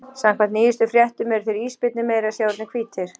Samkvæmt nýjustu fréttum eru þeir ísbirnir meira að segja orðnir hvítir!